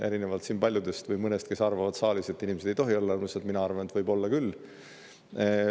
Erinevalt paljudest või mõnest, kes arvavad siin saalis, et inimesed ei tohi olla rõõmsad, arvan mina, et võivad olla küll.